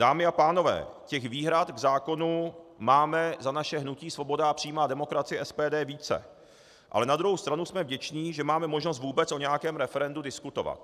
Dámy a pánové, těch výhrad k zákonu máme za naše hnutí Svoboda a přímá demokracie, SPD, více, ale na druhou stranu jsme vděční, že máme možnost vůbec o nějakém referendu diskutovat.